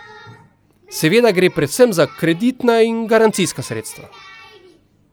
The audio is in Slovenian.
Seveda gre predvsem za kreditna in garancijska sredstva.